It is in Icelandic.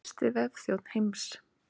Fyrsti vefþjónn heims.